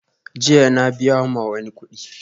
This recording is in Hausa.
Jiya na biya wa mai kudi